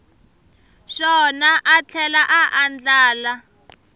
xona a tlhela a andlala